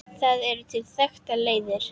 Það eru til þekktar leiðir.